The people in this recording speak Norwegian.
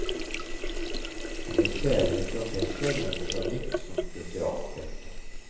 Han ble senere professor med botanikk som spesialfelt.